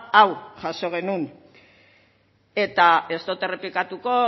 hau jaso genuen eta ez dut errepikatuko